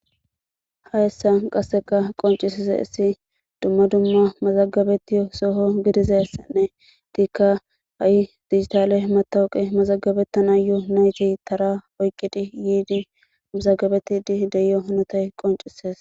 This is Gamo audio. hayssa qasseka qoncisise isi dumma dumma mazagabeti soho gidizessenne tiikka ha7i digitale matawuqe mazagabettana yo nayti tara oyqqidi yiidi mazagabetidi deyo honotey qoncisees